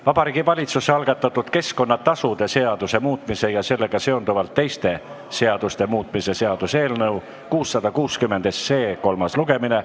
Vabariigi Valitsuse algatatud keskkonnatasude seaduse muutmise ja sellega seonduvalt teiste seaduste muutmise seaduse eelnõu 660 kolmas lugemine.